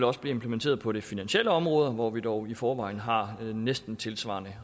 også blive implementeret på det finansielle område hvor vi dog i forvejen har næsten tilsvarende